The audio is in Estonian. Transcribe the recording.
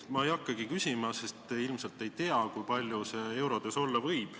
Ma ei hakkagi küsima, sest ilmselt te seda ei tea, kui palju see eurodes olla võib.